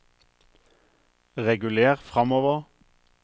reguler framover